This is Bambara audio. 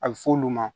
A bɛ f'olu ma